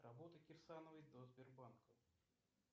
работа кирсановой до сбербанка